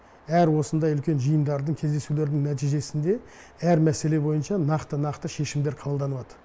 әр осындай үлкен жиындардың кездесулердің нәтижесінде әр мәселе бойынша нақты нақты шешімдер қабылданылады